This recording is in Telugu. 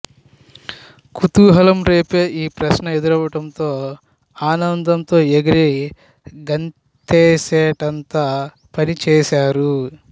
కుతూహలం రేపే ఈ ప్రశ్న ఎదురవడంతో ఆనందంతో ఎగిరి గంతేసేటంత పనిచేశారు